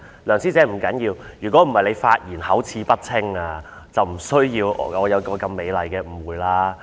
梁師姐，不要緊的，要不是你發言口齒不清，我便不會有這麼美麗的誤會了。